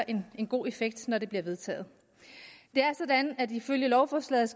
en god effekt når det bliver vedtaget det er sådan at ifølge lovforslaget